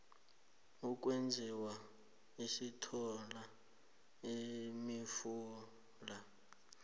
ukwezinye sithola imifula